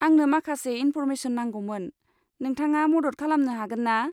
आंनो माखासे इन्फ'र्मेसन नांगौमोन, नोंथाङा मदद खालामनो हागोन्ना?